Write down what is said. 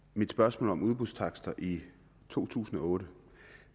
mit spørgsmål om udbudstakster i to tusind og otte